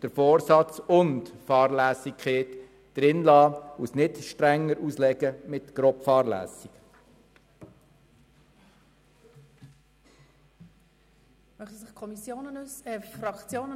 Die Formulierung «Vorsatz oder Fahrlässigkeit» soll beibehalten werden, es soll nicht mit «grobe Fahrlässigkeit» strenger ausgelegt werden.